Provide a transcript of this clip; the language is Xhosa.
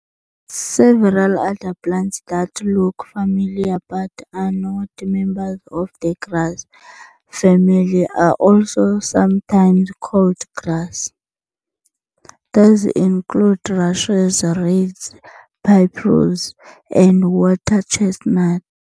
Several other plants that look similar but are not members of the grass family are also sometimes called grass, these include rushes, reeds, papyrus, and water chestnut.